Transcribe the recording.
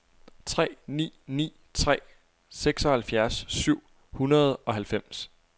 tre ni ni tre seksoghalvfjerds syv hundrede og halvfems